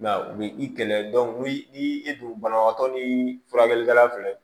I m'a ye u bi i kɛlɛ ni i dun banabaatɔ ni furakɛlikɛla filɛ